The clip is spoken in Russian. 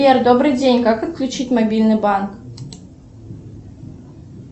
сбер добрый день как отключить мобильный банк